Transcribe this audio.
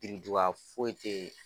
Biriduga foyi teyi.